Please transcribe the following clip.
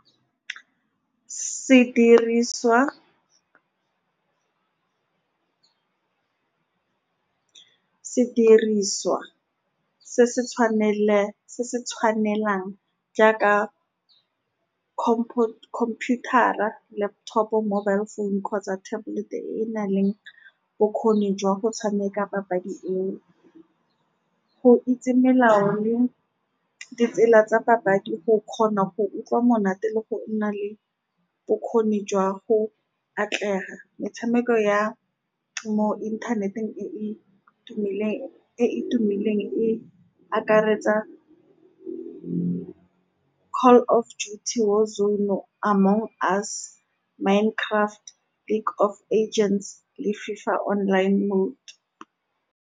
Sediriswa-sediriswa se se , se se tshwanelang jaaka computer-a, laptop-o, mobile phone kgotsa tablet-e, e e nang le bokgoni jwa go tshameka papadi eo. Go itse melao le ditsela tsa papadi go kgona go utlwa monate le go nna le bokgoni jwa go atlega. Metshameko ya mo inthaneteng e e tumileng, e e tumileng e akaretsa Call of Duty, War Zone, Among Us, Minecraft, League of Agents le FIFA Online Mode.